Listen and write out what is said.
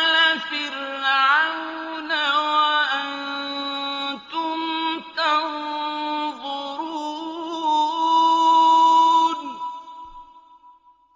آلَ فِرْعَوْنَ وَأَنتُمْ تَنظُرُونَ